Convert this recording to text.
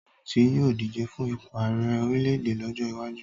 Tóyọ̀sí yóò díje fún ipò àrẹ orílẹ̀ èdè lọ́jọ́ iwájú